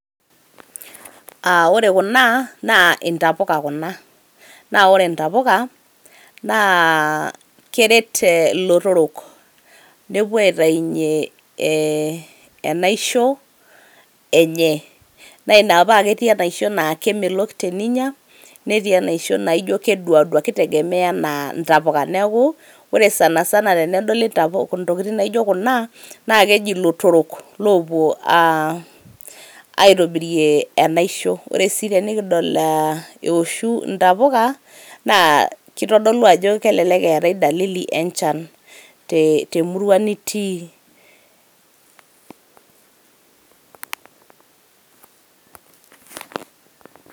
Aa ore kuna naa ntapuka kuna . naa ore intapuka naa keret ilotorok nepuo aitainywe ee enaisho enye. naa ina paa ketii enaisho naa kemelok teninya netii enaisho naa keduadua , kitegemea anaa intapuka niaku ore sanasana tenedoli ntapuk, ntokiti naijo kuna naa keji lotorok aa opuo aitobirie enaisho. ore si tenikidol aa eoshu intapuka naa kitodolu ajo kelelek etae dalili enchan temurua nitii.